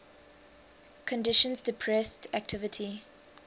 conditions depressed activity